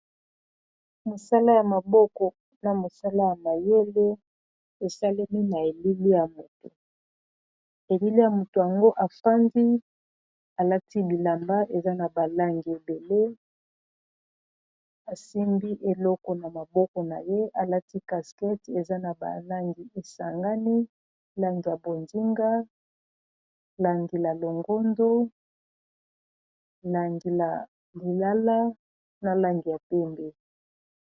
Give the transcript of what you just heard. mosala ya maboko na mosala ya mayele esalemi na elile ya moto elile ya moto yango afandi alati bilamba eza na balangi ebele asimbi eloko na maboko na ye alati caskete eza na balangi esangani langi ya bodinga langi la longondo langi ya lilala na langi ya pembe